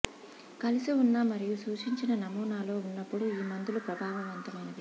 కలిసివున్న మరియు సూచించిన నమూనా లో ఉన్నప్పుడు ఈ మందులు ప్రభావవంతమైన